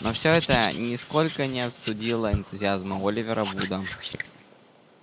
но все это нисколько не остудило энтузиазм оливера вуда